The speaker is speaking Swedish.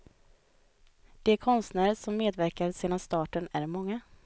De konstnärer som medverkat sedan starten är många.